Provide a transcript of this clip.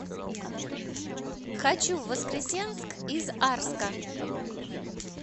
хочу в воскресенск из арска